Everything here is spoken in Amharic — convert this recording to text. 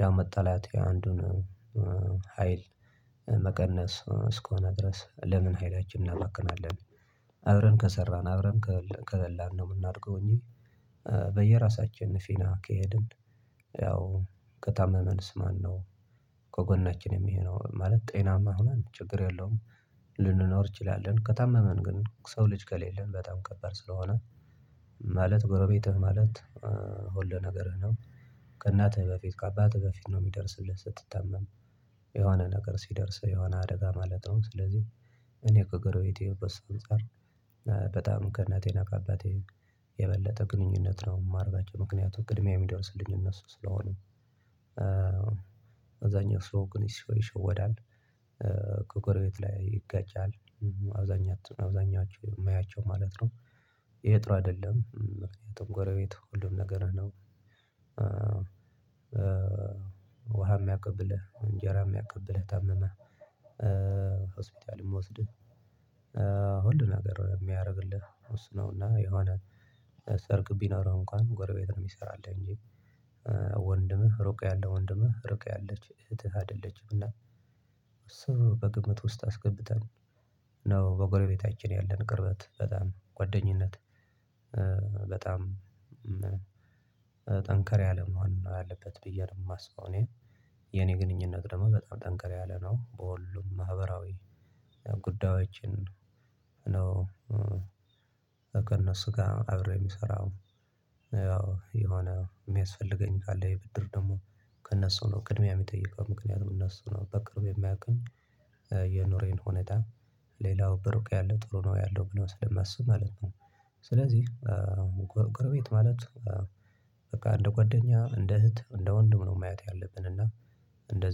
ያው መጣላት የአንዱን ሀይል መቀነስ እስከሆነ ድረስ ለምን ሀይላችን እናመክናለን፣ አብረን ከሰራን አብረን ከበላን ነው የምናደርገው እንጂ በየራሳችን ፊና ከሄድን፣ ያው ከታመመንስ ማነው፣ ከጎናችን የሚሄደው ማለት ጤናማ ሆነ ችግር የለውም ልንኖር እንችላለን፣ ከታመመን ግን ሰው ልጅ ከሌለን በጣም ከባድ ስለሆነ ማለት ጎረቤትህ ማለት ሁሉ ነገርህ ነው፣ ከእናትህ በፊት፣ ከአባትህ በፊት ነው፣ የሚደርስልህ ስትታመም፣ የሆነ ነገር ሲደርስ የሆነ አደጋ ማለት ነው፣ ስለዚህ እኔ እኮ ገረቤቴ በስንፃር በጣም ከእናቴ ነቃባት የበለጠ ግንኙነት ነው፣ የማርጋቸው ምክንያቱም ቅድሚያ የሚደርስልኝ እነሱ ስለሆነ፣ አብዛኛው ሰው ግን ይሸወዳል፣ ከቅርብ ቤት ላይ ይጋጫል አብዛኛት አብዛኛችሁ የማያቸው ማለት ነው፣ የጥሩ አይደለም ጥሩ ጎቤት ሁሉም ነገር ነው፣ ውሃ የሚያቀብልህ፣ እንጀራ የሚያቀብልህ፣ ታመመ ሆስፒታልም ወስደህ ሁሉ ገር የሚያደርግልህ ውስናውና የሆነ አብዛኛው ሰው ልጅ ሆነህ ልትጋጭ ትችላለህ፣ እንኳን ጎረቤት ሆነ እህትና ወንድም፣ እናትና ወንድም፣ እናትና ወንድምህ ሩቅ ያለው ወንድምህ፣ ሩቅ ያለች እህትህ፣ አይደለችም እና እሱ በግምት ውስጥ አስገብተን ነው፣ በጎረቤታችን ያለን ቅርበት በጣም ጓደኝነት በጣም ጠንከር ያለ መሆን አለበት ብዬ ነው የማስበው፣ እኔ የኔ ግንኙነት ደግሞ በጣም ጠንከር ያለ ነው፣ በሁሉም ማህበራዊ ጉዳዮችን ነው፣ እነሱ ጋር አብረው የሚሰራው፣ ያው የሆነ የሚያስፈልገኝ ጋር የብድር ደግሞ ከእነሱ ነው ቅድሚያ የሚጠይቀው፣ ምክንያቱም እነሱ ነው በቅርቡ የማያውቀኝ የኖሬን ሆነታል ሌላው በሩቅ ያለው ጥሩ ነው ያለው ስለማስብ ማለት ነው። ስለዚህ ጎረቤት ማለት በቃ እንደ ጓደኛ፣ እንደ እህት፣ እንደ ወንድም ነው፣ ማየት ያለብን እና እንደ